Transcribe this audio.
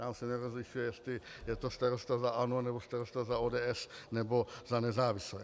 Tam se nerozlišuje, jestli je to starosta za ANO, nebo starosta za ODS, nebo za nezávislé.